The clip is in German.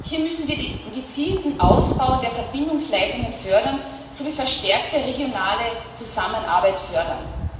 Hier müssen wir den gezielten Ausbau der Verbindungsleitungen sowie verstärkte regionale Zusammenarbeit fördern.